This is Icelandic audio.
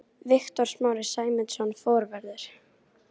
Viktor Smári Sæmundsson, forvörður.